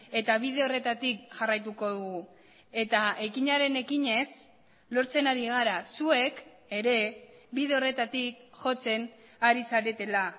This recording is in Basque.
eta bide horretatik jarraituko dugu eta ekinaren ekinez lortzen ari gara zuek ere bide horretatik jotzen ari zaretela